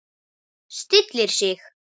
Stillir sig.